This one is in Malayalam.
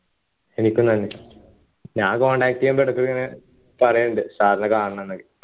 എനിക്ക് ഞാൻ contact ചെയ്യാൻ ഇടക്കൊക്കെ ഇങ്ങനെ പറയലുണ്ട് sir നെ കാണണം ന്നൊക്കെ